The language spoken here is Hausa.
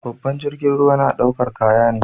Babban jirgin ruwa na daukar kaya ne.